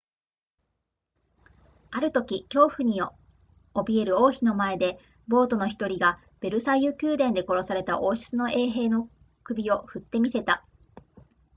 あるとき恐怖に怯える王妃の前で暴徒の1人がヴェルサイユ宮殿で殺された王室の衛兵の首を振って見せた